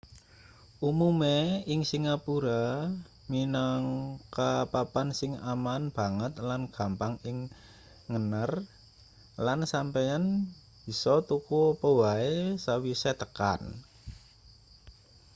umume ing singapura minangka papan sing aman banget lan gampang ing ngener lan sampeyan bisa tuku apa wae sawise tekan